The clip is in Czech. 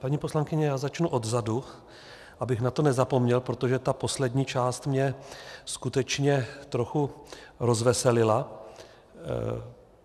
Paní poslankyně, já začnu odzadu, abych na to nezapomněl, protože ta poslední část mě skutečně trochu rozveselila.